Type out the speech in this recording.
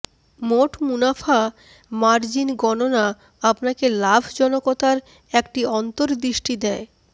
মোট মুনাফা মার্জিন গণনা আপনাকে লাভজনকতার একটি অন্তর্দৃষ্টি দেয়